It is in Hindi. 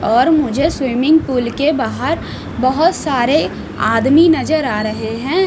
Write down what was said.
और मुझे स्विमिंग पूल के बाहर बहोत सारे आदमी नजर आ रहे हैं।